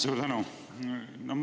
Suur tänu!